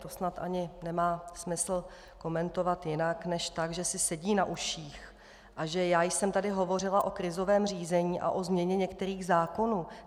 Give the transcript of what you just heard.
To snad ani nemá smysl komentovat jinak než tak, že si sedí na uších a že já jsem tady hovořila o krizovém řízení a o změně některých zákonů.